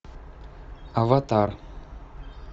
аватар